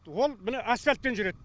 ол міне асфальтпен жүреді